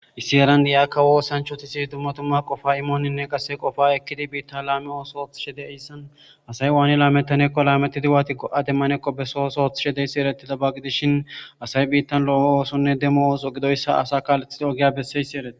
issi eran di7akka woo sanchoti si dummatumma qofa imooninne qasse qofa ekkidi biitta laami oosooth shede hissan asay waani laametanekko laametidi waati go7ade manekko besosooth shedeyssi ereti dabagidishin asay biittan loowo oosonne demo ooso gidoyssa asa kaalethide ogiya besseysi ereti